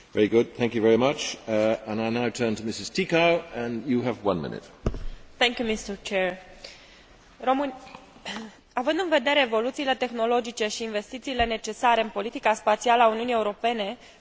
Având în vedere evoluțiile tehnologice și investițiile necesare în politica spațială a Uniunii Europene, subliniez rolul important pe care utilizarea sistemelor de navigație prin satelit îl au în monitorizarea, controlul și supravegherea activităților de pescuit.